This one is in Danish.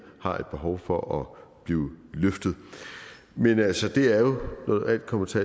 har et behov for at blive løftet men altså det er jo når alt kommer til